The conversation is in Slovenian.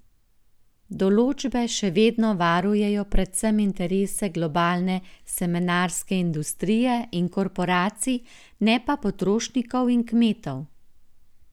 Določbe še vedno varujejo predvsem interese globalne semenarske industrije in korporacij, ne pa potrošnikov in kmetov.